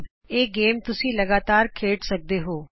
ਇਹ ਖੇਡ ਤੁਸੀਂ ਜਿੰਨਾ ਚਿਰ ਚਾਹੋ ਲਗਾਤਾਰ ਖੇਡ ਸਕਦੇ ਹੋ